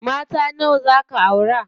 Mata nawa zaa ka aura?